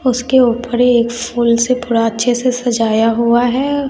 उसके ऊपर फूल से पूरा अच्छे से सजाया हुआ है।